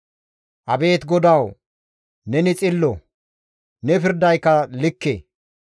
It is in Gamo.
Abeet GODAWU! Neni xillo; ne pirdayka likke.